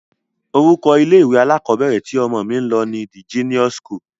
Orúkọ ilé-ìwé alákọọ́bẹ̀rẹ̀ tí ọmọ mí ń lọ ni De-Genius school.